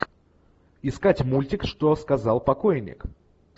искать мультик что сказал покойник